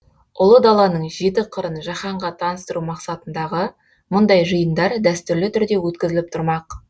ұлы даланың жеті қырын жаһанға таныстыру мақсатындағы мұндай жиындар дәстүрлі түрде өткізіліп тұрмақ